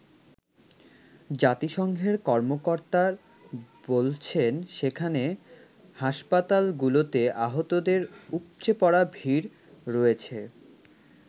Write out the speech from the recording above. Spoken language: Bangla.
জাতিসংঘের কর্মকর্তার বলছেন সেখানে হাসপাতালগুলোতে আহতদের উপচে পড়া ভিড় রয়েছে।